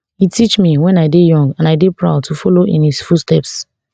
e teach me when i dey young and i dey proud to follow in his footsteps